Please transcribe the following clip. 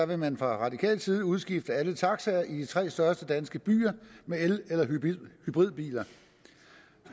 vil man fra radikal side udskifte alle taxaer i de tre største danske byer med el eller hybridbiler